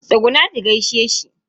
Tsugunna ki gaishe shi.